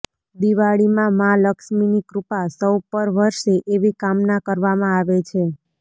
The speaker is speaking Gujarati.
દિવાળીમાં મા લક્ષ્મીની કૃપા સૌ પર વરસે એવી કામના કરવામાં આવે છે